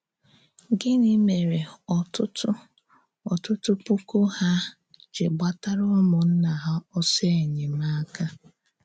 Gịnị mèrè ọ̀tụ̀tụ̀ ọ̀tụ̀tụ̀ pùkù hà à jì gbàtárà ǔmùnnà hà òsọ̀ enyèmákà?